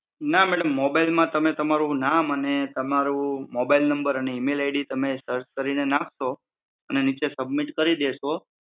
ના madam mobile માં તમે તમારું નામ અને તમારું મોબાઈલ નમ્બર અને ઈમેલ આઇડી તમે સર્ચ કરીને તમે નાખો અને નીચે સબમિટ કીર દેશો.